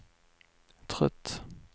trött